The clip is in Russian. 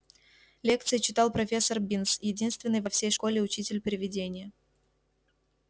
лекции читал профессор бинс единственный во всей школе учитель-привидение